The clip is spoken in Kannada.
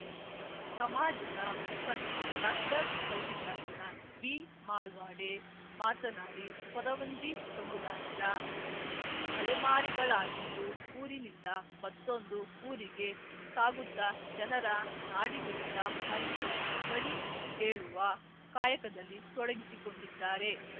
ಸಮಾಜದ ಮುಖಂಡ ಡಾಕ್ಟರ್ ಮಲ್ಲಿಕಾರ್ಜುನ ಬಿಮಾಲ್ಪಾಡೆ ಮಾತನಾಡಿ ಕೊರವಂಜಿ ಸಮುದಾಯದ ಅಲೆಮಾರಿಗಳಾಗಿದ್ದು ಊರಿನಿಂದ ಮತ್ತೊಂದು ಊರಿಗೆ ಸಾಗುತ್ತ ಜನರ ನಾಡಿಮಿಡಿತ ಅರಿತು ಕಣಿ ಹೇಳುವ ಕಾಯಕದಲ್ಲಿ ತೊಡಗಿಸಿಕೊಂಡಿದ್ದಾರೆ